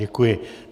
Děkuji.